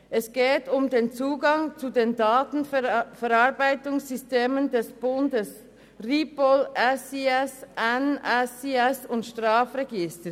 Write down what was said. Es geht um den Zugang zu den Datenverarbeitungssystemen des Bundes – RIPOL, SIS, NSIS und das Strafregister.